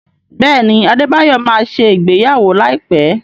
Bẹẹni, adebayọ má ṣe ìgbéyàwó láìpé